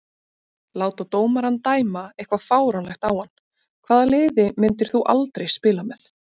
Láta dómarann dæma eitthvað fáránlegt á hann Hvaða liði myndir þú aldrei spila með?